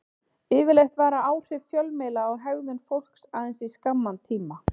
Yfirleitt vara áhrif fjölmiðla á hegðun fólks aðeins í skamman tíma.